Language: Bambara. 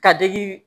Ka dege